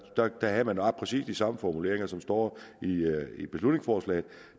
havde man præcis de samme formuleringer som står i beslutningsforslaget